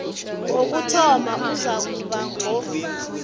wokuthoma uzakuba ngo